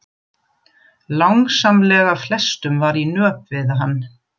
Langsamlega flestum var í nöp við hann.